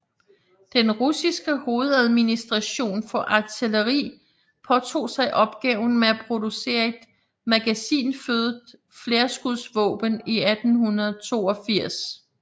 Den russiske hovedadministration for artilleri påtog sig opgaven med at producere et magasinfødet flerskudsvåben i 1882